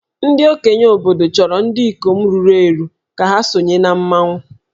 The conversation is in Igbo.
Ndị okenye obodo chọrọ ndị ikom ruru eru ka ha sonye na mmanwụ